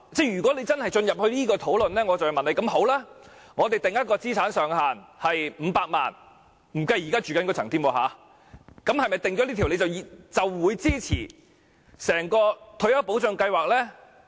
如果真的要進行這項討論，我便要問，如果我們把資產上限設於500萬元——不計他們現正居住的物業——是否訂下這條界線，他們便會支持整項退休保障計劃呢？